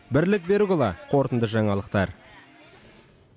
бірлік берікұлы қорытынды жаңалықтар